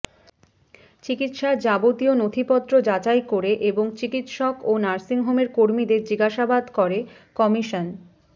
চিকিৎসার যাবতীয় নথিপত্র যাচাই করে এবং চিকিৎসক ও নার্সিংহোমের কর্মীদের জিজ্ঞাসাবাদ করে কমিশন